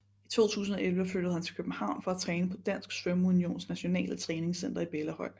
I 2011 flyttede han til København for at træne på Dansk Svømmeunions Nationale Træningscenter i Bellahøj